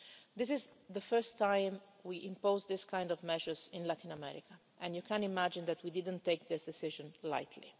This is the first time that we are imposing these kinds of measures in Latin America and, as you can imagine, we didn't take the decision